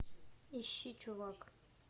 ищи чувак